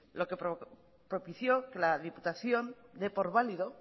propició que la diputación dé por válido